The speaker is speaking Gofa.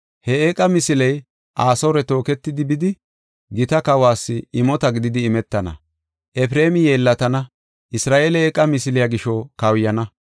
He eeqa misiley Asoore tooketidi, bidi, gita kawas imota gididi imetana. Efreemi yeellatana; Isra7eeley eeqa misiliya gisho kawuyana.